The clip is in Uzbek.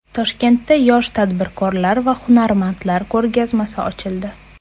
Toshkentda yosh tadbirkorlar va hunarmandlar ko‘rgazmasi ochildi .